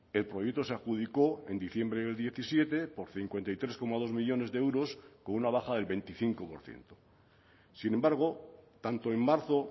el proyecto se adjudicó en diciembre el diecisiete por cincuenta y tres coma dos millónes de euros con una bajada del veinticinco por ciento sin embargo tanto en marzo